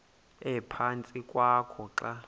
ephantsi kwakho xa